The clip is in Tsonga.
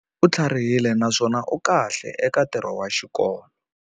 U tlharihile naswona u kahle eka ntirho wa xikolo.